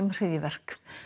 hryðjuverk